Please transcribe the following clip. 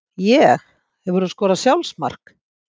Ég Hefurðu skorað sjálfsmark?